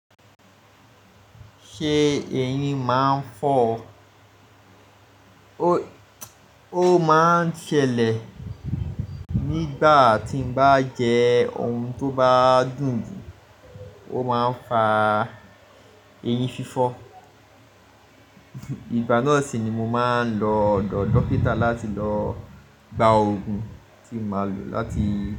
Ṣe eyin máa ń fọ́ ọ? Ó máa ń ṣẹlẹ̀ nígbà tí n bá jẹ ohun tó bá dùn, ó máa ń fa eyin fífọ́. Ìgbà náà sì ni mo máa ń lọ ọ̀dọ̀ dókítà láti lọ gba òògùn tí n máa lò láti.